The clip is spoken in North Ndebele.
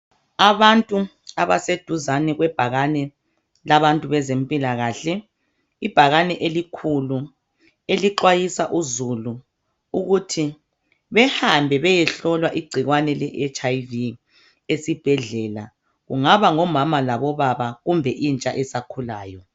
Abantu abaseduzane kwebhakane kulabantu bezempilakahle ibhakane elikhulu elixwayisa uzulu ukuthi behambe beyehlolwa igcikwane le HIV esibhedlela kungaba ngomama labobaba kumbe intsha esakhulayo.